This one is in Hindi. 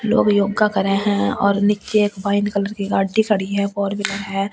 लोग योग करे है नीच्चे एक वाइन कलर की गाड़ी खड़ी है फोर व्हीलर है ।